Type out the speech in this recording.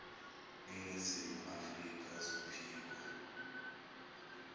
ningizimu afrka zophiko